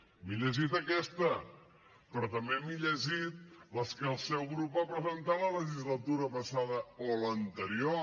m’he llegit aquesta però també m’he llegit les que el seu grup va presentar la legislatura passada o l’anterior